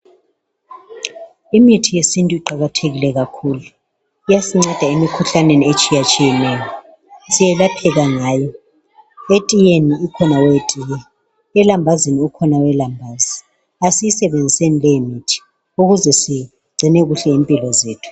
Imithi yesintu iqakathekile kakhulu lyasinceda emikhuhlaneni etshiyatshiyeneyo. Siyelapheka ngayo. Etiye ukhona owetiye. Elambazini, ukhona owelambazi. Kasiyisebenziseni leyimithi. Ukuze sigcine kuhle impilo zethu.